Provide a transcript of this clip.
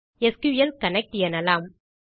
SQL connect எனலாம்